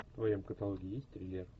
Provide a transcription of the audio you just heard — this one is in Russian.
в твоем каталоге есть триллер